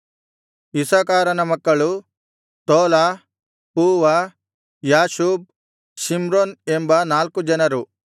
ಇಸ್ಸಾಕಾರನ ಮಕ್ಕಳು Tola Puvah Jashub Shimron ಎಂಬ ನಾಲ್ಕು ಜನರು